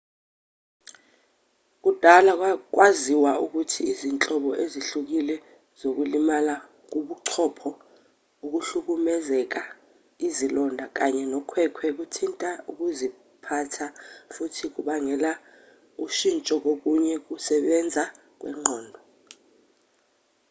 kudala kwaziwa ukuthi izinhlobo ezihlukile zokulimala kobuchopho ukuhlukumezeka izilonda kanye nokhwekhwe kuthinta ukuziphatha futhi kubangela ushintsho kokunye kokusebenza kwengqondo